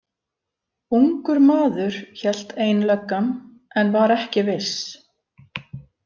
Ungur maður, hélt ein löggan en var ekki viss.